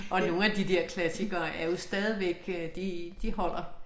Og nogle af de dér klassikere er jo stadigvæk øh de de holder